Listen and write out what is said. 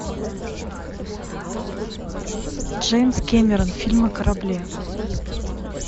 джеймс кэмерон фильм о корабле